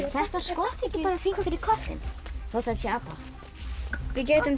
þetta skott ekki bara fínt fyrir köttinn þótt þetta sé apa við getum